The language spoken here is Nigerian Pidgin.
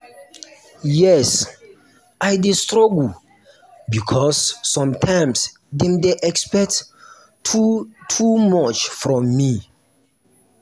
yes i dey struggle because sometimes dem dey expect too too much from me.